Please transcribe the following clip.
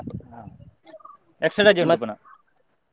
Extra ರಜೆ ಉಂಟು ಪುನಃ.